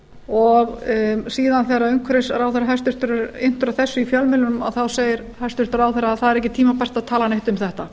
og síðan þegar hæstvirtur umhverfisráðherra er inntur eftir þessu í fjölmiðlum þá segir hæstvirtur ráðherra það er ekki tímabært að tala neitt um þetta